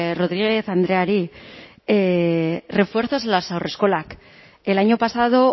rodríguez andreari refuerzos en las haurreskolak el año pasado